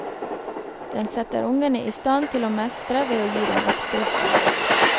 Den setter ungene i stand til å mestre ved å gi dem oppskrifter.